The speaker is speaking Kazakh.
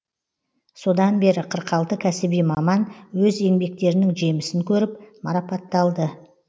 содан бері қырық алты кәсіби маман өз еңбектерінің жемісін көріп марапатталды